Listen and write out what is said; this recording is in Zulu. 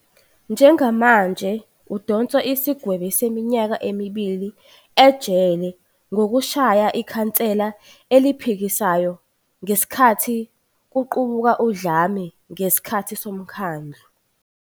Njengamanje udonsa isigwebo seminyaka emibili ejele ngokushaya ikhansela eliphikisayo ngesikhathi kuqubuka udlame ngesikhathi somkhandlu.